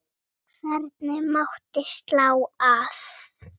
Hvergi mátti slá af.